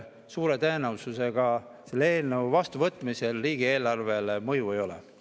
Suure tõenäosusega sellel eelnõul vastuvõtmise korral riigieelarvele mõju ei ole.